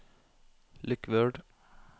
lukk Word